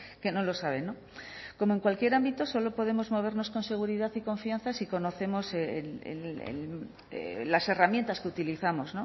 que no lo saben como en cualquier ámbito solo podemos movernos con seguridad y confianza si conocemos las herramientas que utilizamos